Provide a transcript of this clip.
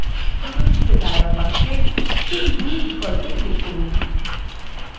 প্রদর্শিত dialog box sheet 2 বিকল্পে click করুন